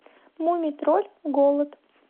мумий тролль голод